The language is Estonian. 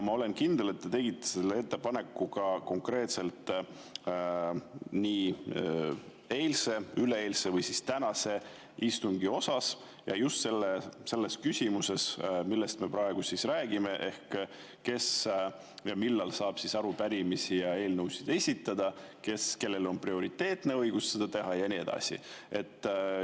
Ma olen kindel, et te tegite selle ettepaneku konkreetselt eilse, üleeilse või siis tänase istungi kohta ja just selles küsimuses, millest me praegu räägime: kes ja millal saab arupärimisi ja eelnõusid esitada, kellel on prioriteetne õigus seda teha ja nii edasi.